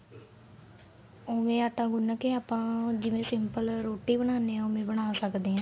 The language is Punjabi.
ਉਵੇ ਆਟਾ ਗੁੰਨ ਕੇ ਆਪਾਂ ਜਿਵੇਂ simple ਰੋਟੀ ਬਣਾਨੇ ਆ ਉਵੇ ਬਣਾ ਸਕਦੇ ਆ